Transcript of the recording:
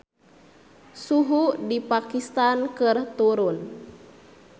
Suhu di Pakistan keur turun